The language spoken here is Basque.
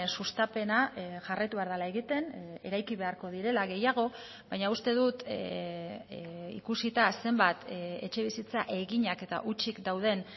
sustapena jarraitu behar dela egiten eraiki beharko direla gehiago baina uste dut ikusita zenbat etxebizitza eginak eta hutsik dauden